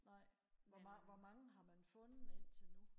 nej hvor mange hvor mange har man fundet indtil nu